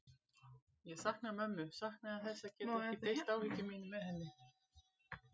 Ég saknaði mömmu, saknaði þess að geta ekki deilt áhyggjum mínum með henni.